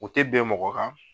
U tɛ bɛn mɔgɔ kan